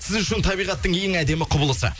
сіз үшін табиғаттың ең әдемі құбылысы